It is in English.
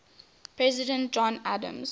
president john adams